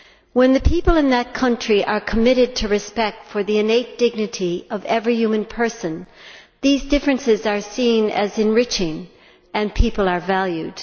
When the people in that country are committed to respect for the innate dignity of every human person, these differences are seen as enriching, and people are valued.